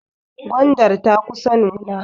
Gwandar ta kusa nuna.